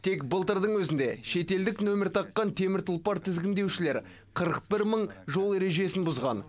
тек былтырдың өзінде шетелдік нөмір таққан темір тұлпар тізгіндеушілер қырық бір мың жол ережесін бұзған